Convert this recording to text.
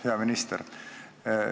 Hea minister!